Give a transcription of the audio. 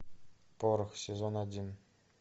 порох сезон один